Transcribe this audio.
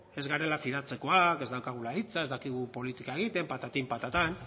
ez garela fidatzekoak ez daukagula hitza ez dakigu politika egiten patatin patatan